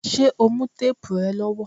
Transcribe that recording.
Ṣé o mú téèbù rẹ lọ́wọ́?